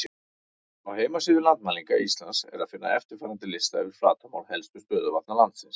Á heimasíðu Landmælinga Íslands er að finna eftirfarandi lista yfir flatarmál helstu stöðuvatna landsins: